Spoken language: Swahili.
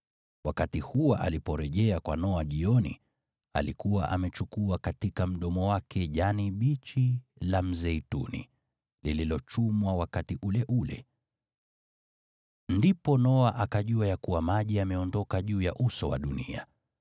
Wakati hua aliporejea kwa Noa jioni, alikuwa amechukua katika mdomo wake jani bichi la mzeituni, lililochumwa wakati ule ule! Ndipo Noa akajua ya kuwa maji yameondoka juu ya uso wa dunia.